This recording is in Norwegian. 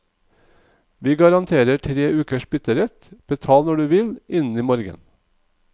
Vi garanterer tre ukers bytterett, betal når du vil, innen i morgen.